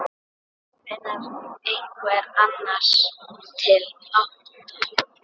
Kemur einhver annar til álita?